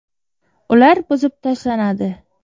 Ular buzib tashlanadi.